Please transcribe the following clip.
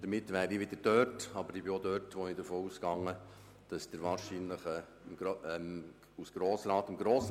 Ich bitte zuerst um das Votum der FiKo-Minderheit und anschliessend um jenes der SP-JUSO-PSA-Fraktion sowie als Co-Antragsteller der Grünen.